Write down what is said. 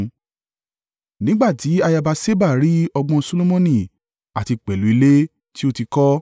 Nígbà tí ayaba Ṣeba rí ọgbọ́n Solomoni àti pẹ̀lú ilé tí ó ti kọ́,